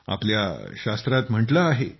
आपल्या शास्त्रात म्हटले आहे